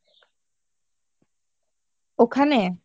ওখানে?